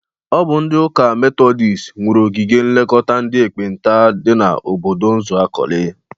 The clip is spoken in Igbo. Ọ bụ ndị ụka metọdịst nwuru ogige nlekọta ndị ekpenta dị n'obodo Uzuakoli.